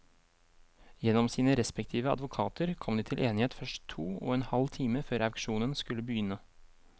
Gjennom sine respektive advokater kom de til enighet først to og en halv time før auksjonen skulle begynne.